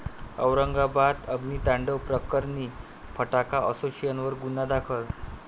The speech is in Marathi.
औरंगाबाद अग्नितांडव प्रकरणी फटाका असोसिएशनवर गुन्हा दाखल